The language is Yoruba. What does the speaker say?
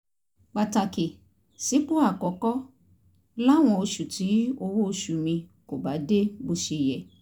pàtàkì sípò àkọ́kọ́ láwọn oṣù tí owó oṣù mi kò bá dé bó ṣe yẹ